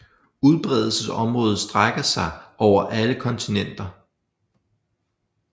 Udbredelsesområdet strækker sig over alle kontinenter